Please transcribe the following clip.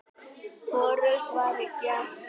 Hvorugt var gert.